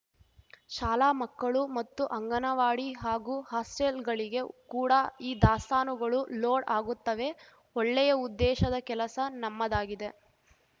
ಶಾಲಾ ಮಕ್ಕಳು ಮತ್ತು ಅಂಗನವಾಡಿ ಹಾಗೂ ಹಾಸ್ಟೆಲ್‌ಗಳಿಗೆ ಕೂಡ ಈ ದಾಸ್ತಾನುಗಳು ಲೋಡ್‌ ಆಗುತ್ತವೆ ಒಳ್ಳೆಯ ಉದ್ದೇಶದ ಕೆಲಸ ನಮ್ಮದಾಗಿದೆ